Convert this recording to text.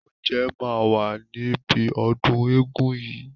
Oúnjẹ máa wà níbi ọdún eégún yìí.